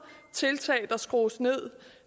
tiltag der skrues ned